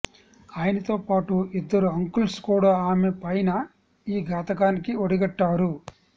ఆయనతో పాటు ఇద్దరు అంకుల్స్ కూడా ఆమె పైన ఈ ఘాతుకానికి ఒడిగట్టారు